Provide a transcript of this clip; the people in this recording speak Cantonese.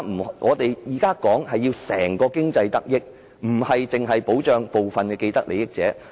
我們現在希望整體經濟得益，而非單單保障部分既得利益者。